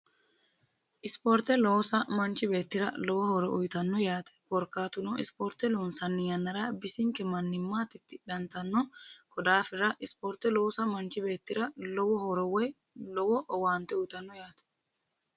isporte loosa manchi beetira lowo horo uyitanno yaate korkkaatuno isporte loonsanni yannara bisinke mannimma tittidhantanno ko daafira isporte loosa manchi beetira lowo horo woy lowo owaante uytanno yaate